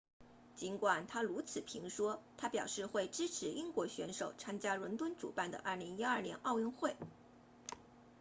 尽管他如此评说他表示会支持英国选手参加伦敦主办的2012年奥运会